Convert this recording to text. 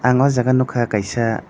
ang aw jaaga nugkha kaisa.